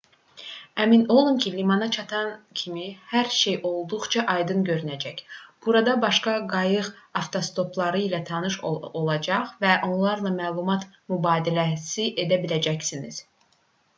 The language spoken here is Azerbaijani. əmin olun ki limana çatan kimi hər şey olduqca aydın görünəcək burada başqa qayıq avtostopçuları ilə tanış olacaq və onlarla məlumat mübadiləsi edə biləcəksiniz